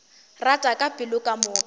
rata ka pelo ka moka